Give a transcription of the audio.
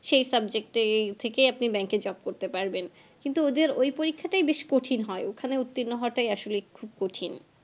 সেই subject এই থেকেই আপনি bank এ job করতে পারবেন কিন্তু ওদের ওই পরীক্ষাটাই বেশ কঠিন হয় ওখানে উর্ত্তিন্ন হওয়াটাই আসলে খুব কঠিন